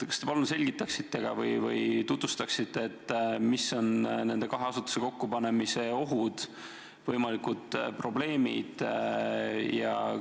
Kas te palun selgitaksite, mis on nende kahe asutuse kokkupanemise ohud ja võimalikud probleemid?